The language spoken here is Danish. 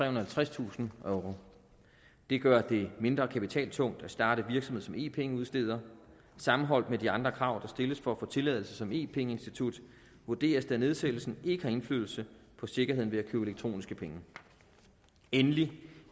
og halvtredstusind euro det gør det mindre kapitaltungt at starte virksomhed som e penge udsteder sammenholdt med de andre krav der stilles for at få tilladelse som e penge institut vurderes det at nedsættelsen ikke har indflydelse på sikkerheden ved at købe elektroniske penge endelig